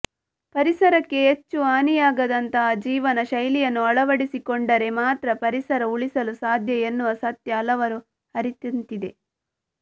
ಪರಿಸರಕ್ಕೆ ಹೆಚ್ಚು ಹಾನಿಯಾಗದಂತಹ ಜೀವನ ಶೈಲಿಯನ್ನು ಅಳವಡಿಸಿಕೊಂಡರೆ ಮಾತ್ರ ಪರಿಸರ ಉಳಿಸಲು ಸಾಧ್ಯ ಎನ್ನುವ ಸತ್ಯ ಹಲವರು ಅರಿತಂತಿದೆ